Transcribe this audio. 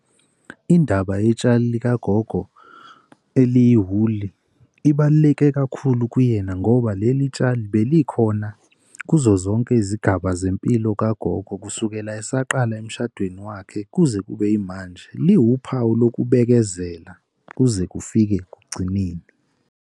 Indaba yetshali likagogo eliyiwuli libaluleke kakhulu kuyena, ngoba leli tshali belikhona kuzo zonke izigaba zempilo kagogo kusukela esaqala emshadweni wakhe, kuze kube yimanje liwuphawu lokubekezela kuze kufike ekugcineni.